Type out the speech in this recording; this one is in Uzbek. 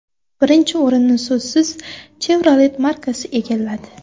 Birinchi o‘rinni so‘zsiz Chevrolet markasi egalladi.